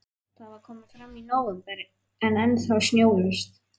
Það var komið fram í nóvember en ennþá snjólaust.